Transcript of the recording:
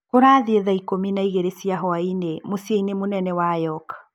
Kũrathiĩ thaa ikũmi na igĩrĩ cia huainĩ mũcinĩ mũnene wa York.